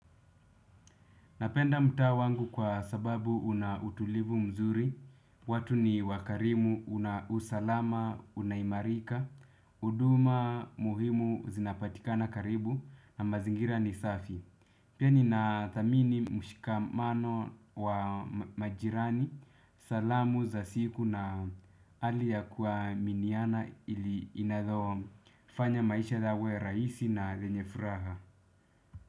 Napenda mtaa wangu kwa sababu unautulivu mzuri, watu niwakarimu, una usalama, unaimarika, huduma, muhimu, zinapatikana karibu, na mazingira ni safi. Pia ni na thamini mshikamano wa majirani, salamu za siku na hali ya kuaminiana inayofanya maisha yawe rahisi na lenye furaha.